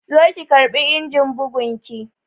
Zo ki karɓi injin bugun ki!